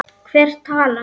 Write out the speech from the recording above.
Hver talar?